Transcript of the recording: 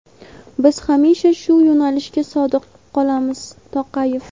Biz hamisha shu yo‘nalishga sodiq qolamiz – Toqayev.